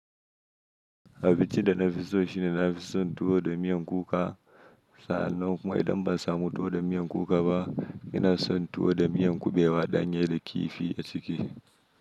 A fice da na fi so shi ne na fi son tuwo da miyan kuka. Sa'an nan kuma idan ba samu tuwo da miyan kuka ba, ina son tuwo da miyan kubewa ɗanye da kifi a ciki.